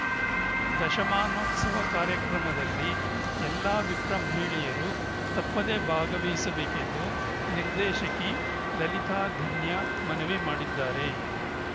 ದಶಮಾನೋತ್ಸವ ಕಾರ್ಯಕ್ರಮದಲ್ಲಿ ಎಲ್ಲ ವಿಪ್ರ ಮಹಿಳೆಯರು ತಪ್ಪದೆ ಭಾಗವಹಿಸಬೇಕೆಂದು ನಿರ್ದೇಶಕಿ ಲಲಿತಾಧನ್ಯ ಮನವಿ ಮಾಡಿದ್ದಾರೆ